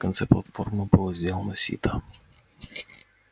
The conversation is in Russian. конце платформы было сделано сито